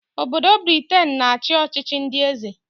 Obodo Briten na-achị ọchịchị ndị eze